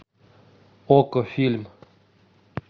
окко фильм